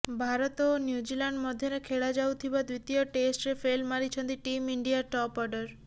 ଭାରତ ଓ ନ୍ୟୁଜିଲାଣ୍ଡ ମଧ୍ୟରେ ଖେଳାଯାଉଥିବା ଦ୍ୱିତୀୟ ଟେଷ୍ଟରେ ଫେଲ୍ ମାରିଛନ୍ତି ଟିମ୍ ଇଣ୍ଡିଆ ଟପ୍ ଅର୍ଡର